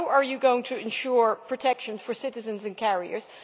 How are you going to ensure protection for citizens and carriers?